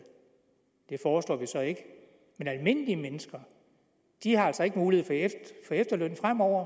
det foreslår vi så ikke men almindelige mennesker har altså ikke mulighed for efterløn fremover